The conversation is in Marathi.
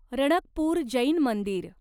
रणकपूर जैन मंदिर